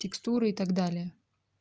текстуры и так далее